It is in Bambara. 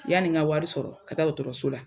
Yani n ka wari sɔrɔ ka taa dɔgɔtɔrɔso la.